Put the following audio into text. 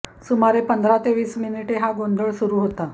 सुमारे पंधरा ते वीस मिनीटे हा गोंधळ सुरू हेता